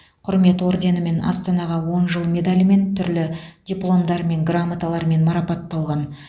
құрмет орденімен астанаға он жыл медалімен түрлі дипломдар мен грамоталармен марапатталған